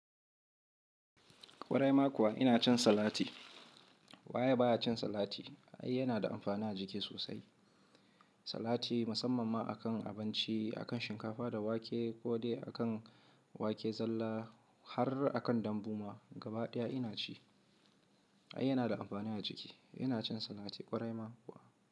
Kwarai ma kuwa ina cin salati. Wa ya baya cin salati? Ai yana da amfani a jiki sosai. Salati musamman ma akan abinci, akan shinkafa da wake ko dai akan wake zalla har akan dambu ma gabaɗaya ina ci. Ai yana da amfani a jiki. Ina cin salati kwarai ma kuwa.